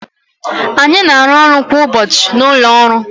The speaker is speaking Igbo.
anyị na-arụ ọrụ kwa ụbọchị na ụlọ ọrụ